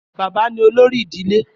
Bàbá ni olórí ìdílé.